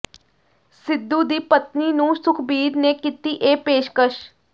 ਸਿੱਧੂ ਦੀ ਪਤਨੀ ਨੂੰ ਸੁਖਬੀਰ ਨੇ ਕੀਤੀ ਇਹ ਪੇਸ਼ਕਸ਼